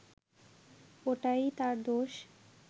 ওইটাই তার দোষ